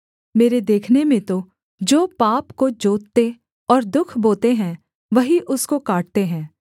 मेरे देखने में तो जो पाप को जोतते और दुःख बोते हैं वही उसको काटते हैं